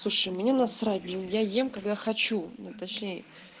мне насрать я ем когда хочу на точнее